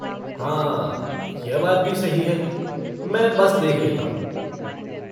हाँ, यह बात भी सही है, मैं बस देख लेता हूँ।